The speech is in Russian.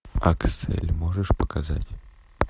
аксель можешь показать